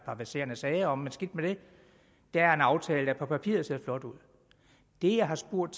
verserende sager om men skidt med det der er en aftale der på papiret ser flot ud det jeg har spurgt